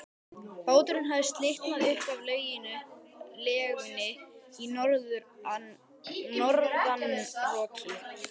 Báturinn hafði slitnað upp af legunni í norðanroki.